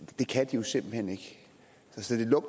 tusind